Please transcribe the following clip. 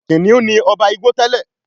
Kìnìún ní oba Ìgbò tèlé.